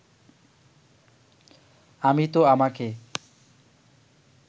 আমি তো আমাকে